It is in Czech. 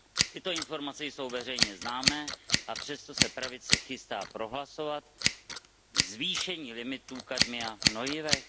Tyto informace jsou veřejně známé, a přesto se pravice chystá prohlasovat zvýšení limitu kadmia v hnojivech.